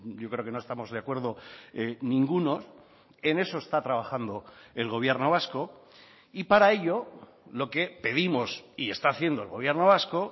yo creo que no estamos de acuerdo ninguno en eso está trabajando el gobierno vasco y para ello lo que pedimos y está haciendo el gobierno vasco